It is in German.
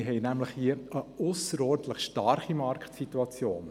Wir haben hier nämlich eine ausserordentlich starke Marktsituation.